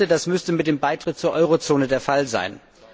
Ich dachte, das müsste mit dem Beitritt zur Eurozone der Fall sein.